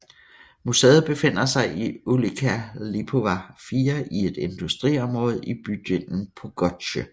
Museet befinder sig i Ulica Lipowa 4 i et industriområde i bydelen Podgórze